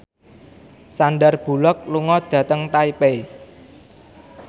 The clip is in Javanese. Sandar Bullock lunga dhateng Taipei